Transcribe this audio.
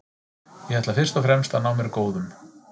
Ég ætla fyrst og fremst að ná mér góðum.